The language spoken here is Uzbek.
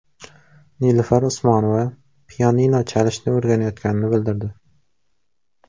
Nilufar Usmonova pianino chalishni o‘rganayotganini bildirdi.